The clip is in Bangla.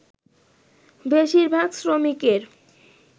বেশিরভাগ শ্রমিকের